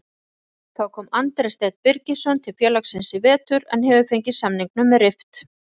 Þá kom Andri Steinn Birgisson til félagsins í vetur en hefur fengið samningnum rift.